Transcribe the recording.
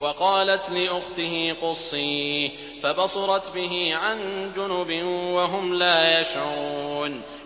وَقَالَتْ لِأُخْتِهِ قُصِّيهِ ۖ فَبَصُرَتْ بِهِ عَن جُنُبٍ وَهُمْ لَا يَشْعُرُونَ